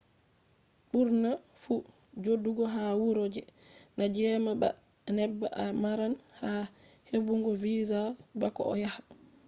burna fu jodugo ha wuro je na jema ba a neba a maran haje hebbugo visa bako a yaha